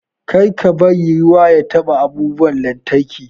Kar ka bari ruwa ya taɓa abubuwan lantarki.